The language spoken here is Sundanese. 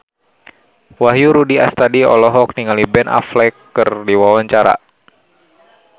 Wahyu Rudi Astadi olohok ningali Ben Affleck keur diwawancara